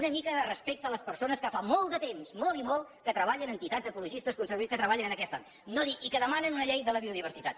una mica respecte a les persones que fa molt de temps molt i molt que treballen entitats ecologistes conservacionistes que treballen en aquest àmbit i que demanen una llei de la biodiversitat